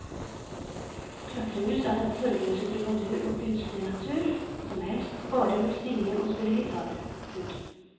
Klatremus er den sorgløse trubadur og kunstnernatur som helst bare vil synge og spille gitar. punktum